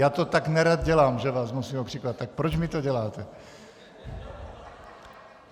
Já to tak nerad dělám, že vás musím okřikovat, tak proč mi to děláte.